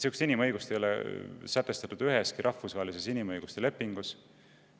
Sellist inimõigust ei ole sätestatud üheski rahvusvahelises inimõiguste lepingus.